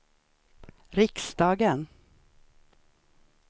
riksdagen